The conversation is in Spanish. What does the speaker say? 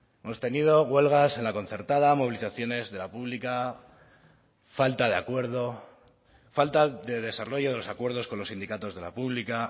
hemos tenido huelgas en la concertada movilizaciones de la pública falta de acuerdo falta de desarrollo de los acuerdos con los sindicatos de la pública